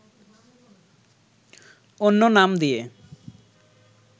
অন্য নাম দিয়ে